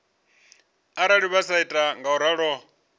arali vha sa ita ngauralo